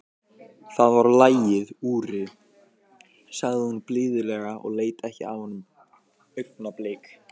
Það var lagið, Úri, sagði hún blíðlega og leit ekki af honum augnablik.